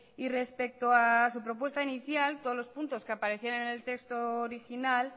respecto a su propuesta inicial todos los puntos que aparecían en el texto original